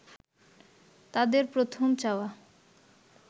তাদের প্রথম চাওয়া